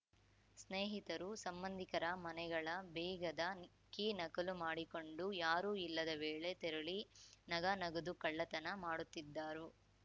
ಸ್ನೇಹಿತರು ಸಂಬಂಧಿಕರ ಮನೆಗಳ ಬೀಗದ ಕೀ ನಕಲು ಮಾಡಿಕೊಂಡು ಯಾರೂ ಇಲ್ಲದ ವೇಳೆ ತೆರಳಿ ನಗ ನಗದು ಕಳ್ಳತನ ಮಾಡುತ್ತಿದ್ದಾರು